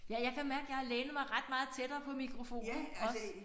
Ja jeg kan mærke jeg har lænet mig ret meget tættere på mikrofonen også